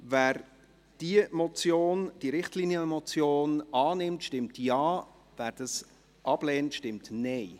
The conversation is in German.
Wer diese Richtlinienmotion annimmt, stimmt Ja, wer diese ablehnt, stimmt Nein.